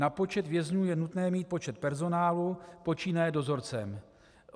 Na počet vězňů je nutné mít počet personálu, počínaje dozorcem.